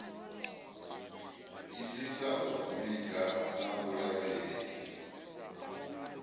isisa u vhiga na vhulavhelesi